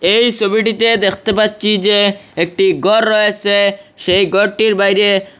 এই ছবিটিতে দেখতে পাচ্চি যে একটি গর রয়েছে সেই গরটির বাইরে--